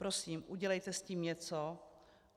Prosím, udělejte s tím něco.